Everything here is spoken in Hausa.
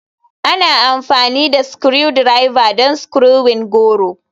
Ana amfani da Screwdriver don screwing goro.